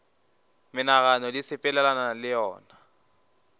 menagano di sepelelana le yona